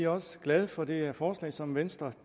også glade for det forslag som venstre